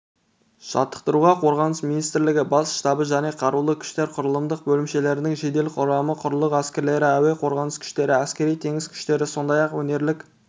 жаттықтыруға қорғаныс министрлігі бас штабы және қарулы күштер құрылымдық бөлімшелерінің жедел құрамы құрлық әскерлері әуе қорғанысы күштері әскери-теңіз күштері сондай-ақ өңірлік